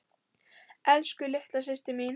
Elsku, litla systir mín.